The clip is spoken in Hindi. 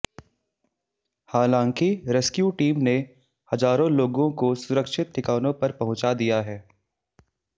हालांकि रेस्क्यू टीम ने हजारों लोगों को सुरक्षित ठिकानों पर पहुंचा दिया है